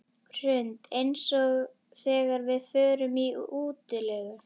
Hrund: Eins og þegar við förum í útilegu?